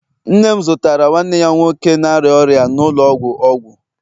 nne m zụtara nwanne ya nwoke na-arịa ọrịa nọ n'ụlọ ọgwụ, ọgwụ.